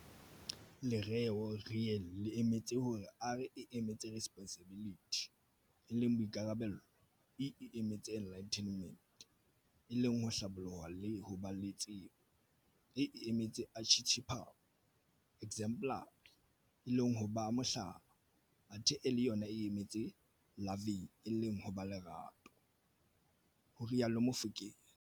Lereo "Real" le emetse hore R e emetse Responsibility e leng Boikarabelo, E e emetse Enlightenment e leng ho Hlaboloha le ho ba le tsebo, A e emetse Archetypal, exemplary, e leng ho ba Mohlala, athe L yona e emetse Loving e leng ho ba le Lerato," ho rialo Mofokeng.